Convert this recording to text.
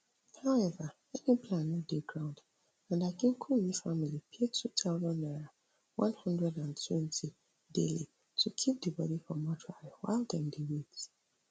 howeva any plan no dey ground and akinkunmi family pay two thousand naira one hundred and twenty daily to keep di body for mortuary while dem dey wait